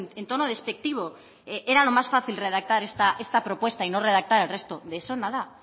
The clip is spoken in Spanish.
en tono despectivo era lo más fácil redactar esta propuesta y no redactar el resto de eso nada